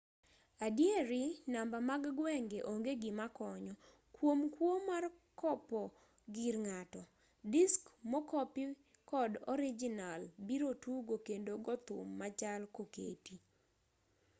adieri namba mag gwenge onge gima konyo kuom kuo mar kopo gir ng'ato. disk mokopi kod orijinal biro tugo kendo gothum machal koketi.